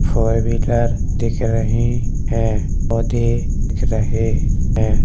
Four wheeler दिख रही हैपौधे दिख रहें है।